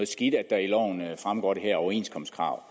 skidt at der fremgår det her overenskomstkrav